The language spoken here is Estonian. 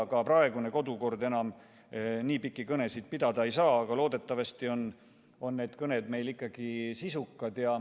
Ka praegune kodukord on selline, et enam nii pikki kõnesid pidada ei saa, aga loodetavasti on need kõned meil ikkagi sisukad.